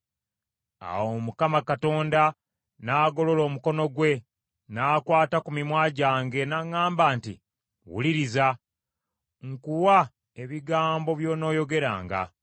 Awo Mukama Katonda n’agolola omukono gwe, n’akwata ku mimwa gyange, n’aŋŋamba, nti, “Wuliriza. Nkuwa ebigambo by’onooyogeranga.